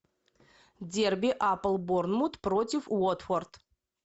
дерби апл борнмут против уотфорд